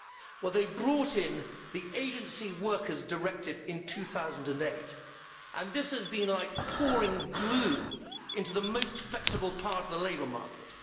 Well they have brought in the Agency Workers' Directive in 2008 and this has been like pouring glue into the most flexible part of the labour market.